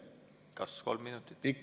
Kas kolm minutit?